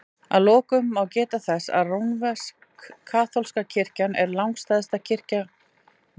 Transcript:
Að lokum má geta þess að rómversk-kaþólska kirkjan er langstærsta kristna trúfélagið.